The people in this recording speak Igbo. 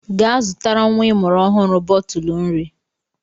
Gaa zụtara nwa ịmụrụ ọhụrụ bọtụlụ nri!